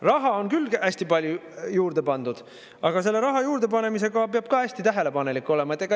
Raha on küll hästi palju juurde pandud, aga selle raha juurde panemisega peab ka hästi tähelepanelik olema.